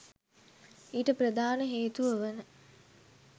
ඊට ප්‍රධාන හේතුව වන